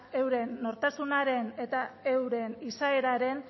euren nortasunaren eta euren izaeraren